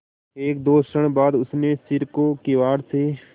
एकदो क्षण बाद उसने सिर को किवाड़ से